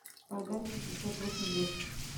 продать пятьдесят восемь лир